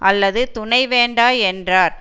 அல்லது துணை வேண்டா என்றார்